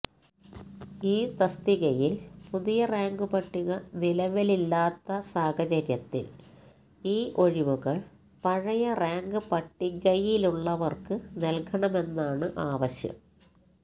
ഈ തസ്തികയില് പുതിയ റാങ്ക്പട്ടിക നിലവില്വരാത്ത സാഹചര്യത്തില് ഈ ഒഴിവുകള് പഴയ റാങ്ക്പട്ടികയിലുള്ളവര്ക്ക് നല്കണമെന്നാണ് ആവശ്യം